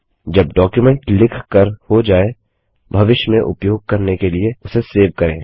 जब डॉक्युमेंट लिख कर हो जाए भविष्य में उपयोग करने के लिए उसे सेव करें